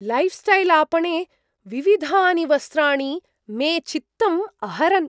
लैऴ्स्टैल् आपणे विविधानि वस्त्राणि मे चित्तम् अहरन्।